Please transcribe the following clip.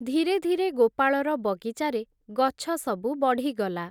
ଧୀରେ ଧୀରେ, ଗୋପାଳର, ବଗିଚାରେ ଗଛସବୁ ବଢ଼ିଗଲା ।